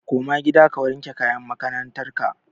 Koma gida ka saka kayan makarantar ka!